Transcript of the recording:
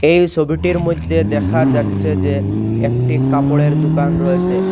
এই সবিটির মধ্যে দেখা যাচ্ছে যে একটি কাপড়ের দোকান রয়েসে।